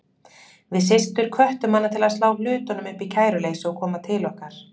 Við systur hvöttum hana til að slá hlutunum upp í kæruleysi og koma til okkar.